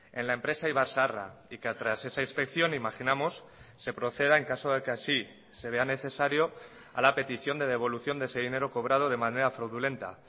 en la empresa ibarzaharra y que tras esa inspección imaginamos se proceda en caso de que así se vean necesario a la petición de devolución de ese dinero cobrado de manera fraudulenta